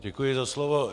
Děkuji za slovo.